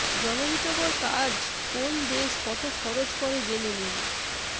জনহিতকর কাজ কোন দেশ কত খরচ করে জেনে নিন